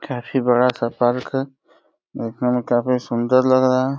काफी बड़ा-सा पार्क है। देखने में काफी सुंदर लग रहा है।